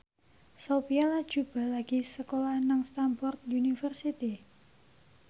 Sophia Latjuba lagi sekolah nang Stamford University